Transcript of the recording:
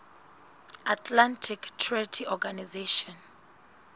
atlantic treaty organization